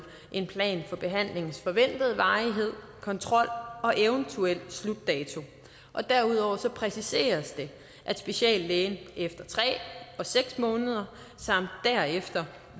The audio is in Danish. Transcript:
en plan for behandlingens forventede varighed kontrol og eventuel slutdato og derudover præciseres det at speciallægen efter tre og seks måneder samt derefter